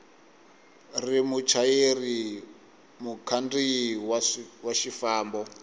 ri muchayeri mukhandziyi wa xifambo